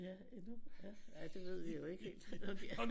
Ja endnu ja det ved vi jo ikke helt om de er